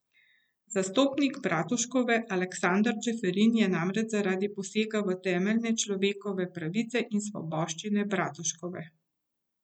Zastopnik Bratuškove Aleksander Čeferin je namreč zaradi posega v temeljne človekove pravice in svoboščine Bratuškove.